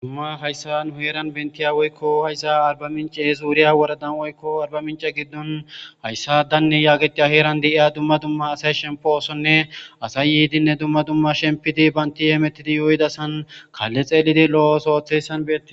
dumma hayssa n huyeran bentiya woykko hayssa arba mincee zuuriya woradan oykko arba mince giddon hayssa danne yaageti aheeran deia dumma dumma asay shemposonne asay yiidinne dumma dumma shempidi baynti yeemetidi yoyda san kaalle xeelidi lo7osoothessan bee